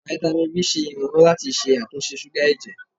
Fáítámì B ṣe ìrànlọ́wọ́ láti ṣàtúnṣe súgà ẹ̀jẹ̀.